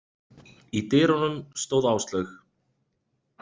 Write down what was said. Í dyrunum stóð Áslaug.